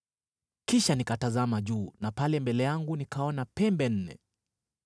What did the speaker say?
Kisha nikatazama juu, na pale mbele yangu nikaona pembe nne!